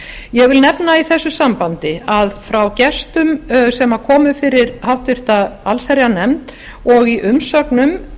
ég vi l nefna í þessu sambandi að frá gestum sem komu fyrir háttvirta allshejrarnjefnd og í umsögnum